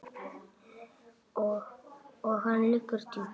Og hann liggur djúpt